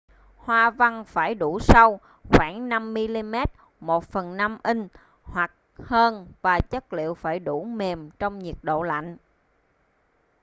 hoa văn phải đủ sâu khoảng 5mm 1/5 inch hoặc hơn và chất liệu phải đủ mềm trong nhiệt độ lạnh